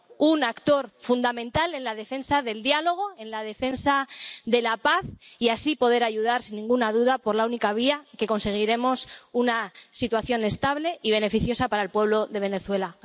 un actor fundamental en la defensa del diálogo, en la defensa de la paz, y así poder ayudar, sin ninguna duda, por la única vía por la que conseguiremos una situación estable y beneficiosa para el pueblo de Venezuela.